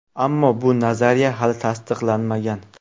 Ammo bu nazariya hali tasdiqlanmagan.